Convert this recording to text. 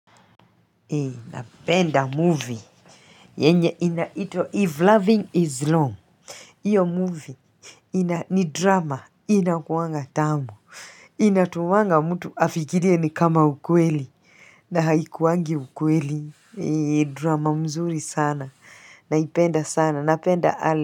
Napenda movie yenye inaitwa 'if loving is wrong' hiyo movie ina ni drama inakuwanga tamu inatoanga mtu afikirie ni kama ukweli na haikuwangi ukweli. Drama mzuri sana naipenda sana napenda.